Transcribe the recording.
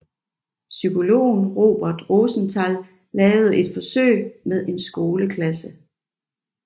Psykologen Robert Rosenthal lavede et forsøg med en skoleklasse